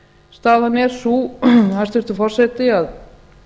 staðan er sú hæstvirtur forseti að